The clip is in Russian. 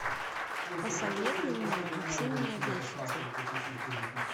посоветуй мне вы все меня бесите